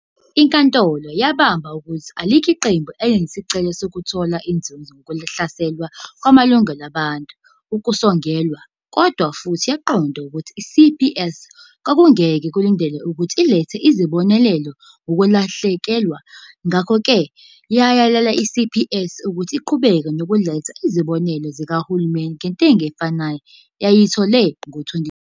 INkantolo yabamba ukuthi alikho iqembu "elalinesicelo sokuthola inzuzo ngokuhlaselwa kwamalungelo abantu okusongelwayo" kodwa futhi yaqonda nokuthi iCPS kwakungeke kulindeleke ukuthi ilethe izibonelelo ngokulahlekelwa, ngakho-ke iyalele i-CPS ukuthi iqhubeke nokuletha izibonelelo zikahulumeni ngentengo efanayo eyayiyithole ngo-2012.